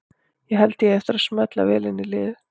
Ég held að ég eigi eftir að smella vel inn í liðið.